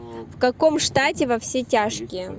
в каком штате во все тяжкие